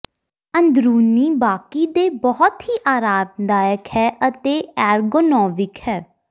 ਅੰਦਰੂਨੀ ਬਾਕੀ ਦੇ ਬਹੁਤ ਹੀ ਆਰਾਮਦਾਇਕ ਹੈ ਅਤੇ ਐਰਗੋਨੋਵਿਕ ਹੈ